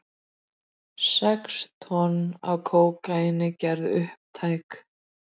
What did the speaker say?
Sex tonn af kókaíni gerð upptæk